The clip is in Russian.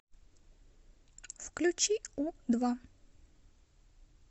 включи у два